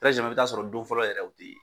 i bɛ t'a sɔrɔ don fɔlɔ yɛrɛ o tɛ ye .